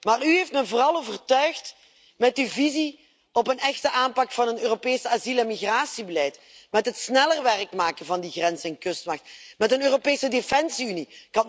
Maar u heeft me vooral overtuigd met uw visie op een echte aanpak van een Europees asiel en migratiebeleid, met het sneller werk maken van de grens en kustwacht, met een Europese defensie unie.